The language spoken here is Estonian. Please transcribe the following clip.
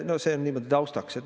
No see on nüüd taustaks.